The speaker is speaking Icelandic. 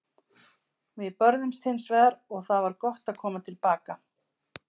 Við börðumst hins vegar og það var gott að koma til baka.